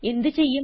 എന്ത് ചെയ്യും